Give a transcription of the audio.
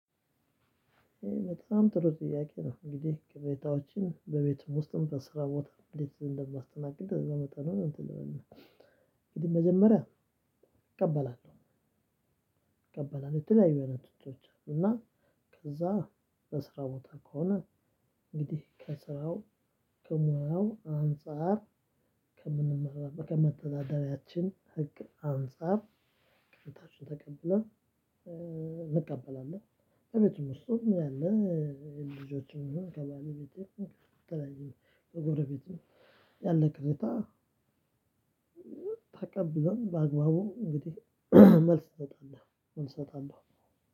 በጣም ጥሩ ጥያቄ ነው እንግዲህ ቅሬታዎችን በቤትም ውስጥም በስራ ቦታ እንዴት እንደማስተናግድ እንደመጠኑ እንትን ልበልልህ። እንግዲህ መጀመሪያ እቀበላለሁ። እቀበላለሁ የተለያዩ አይነት ትችቶች አሉ። እና ከዛ በስራ ቦታ ከሆነ እንግዲህ ከስራው ከሙያው አንፃር ከምንመራበት ከመተዳደሪያችን ህግ አንፃር ቅሬታዎችን ተቀብለን እንቀበላለን። በቤትም ውስጥም ያለ ልጆችም ይሁን ከባለቤቴም ከተለያዩ ከጎረቤትም ያለ ቅሬታ። ተቀብለን በአግባቡ እንግዲህ መልስ እሰጣለሁ እንሰጣለሁ።